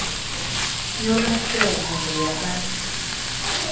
yolwakhiwo zindlu yabantu